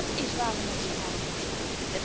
En dát is waar wij met zijn allen voor staan.